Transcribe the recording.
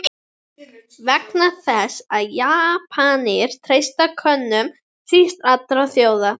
Vegna þess, að Japanir treysta Könum síst allra þjóða!